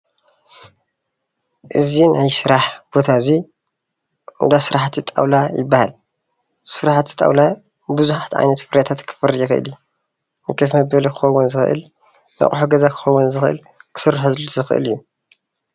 እዚ ናይ ስራሕ ቦታ ኤዚ እንዳስራሕቲ ጣውላ ይበሃል ። ስራሕቲ ጣውላ ቡዙሓት ዓይነታት ፍርያታት ክፈሪ ዝኽእል እዩ። ንከፍ መበሊ ክኸውን ዝኽእል ንቁሑ ገዛ ዝኸውን ክስርሐሉ ዝኽእል እዩ።